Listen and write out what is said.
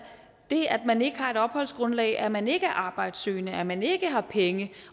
det at man ikke har et opholdsgrundlag at man ikke er arbejdssøgende at man ikke har penge